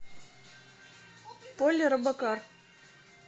поли робокар